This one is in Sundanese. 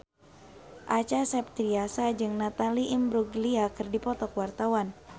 Acha Septriasa jeung Natalie Imbruglia keur dipoto ku wartawan